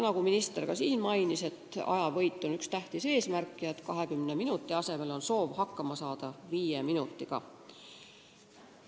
Nagu minister juba märkis, ajavõit on tähtis eesmärk, 20 minuti asemel on soov saada hakkama 5 minutiga.